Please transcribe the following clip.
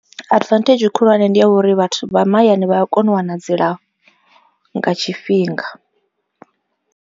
Advantage khulwane ndi ya uri vhathu vha mahayani vha a kona u wana dzilafho nga tshifhinga.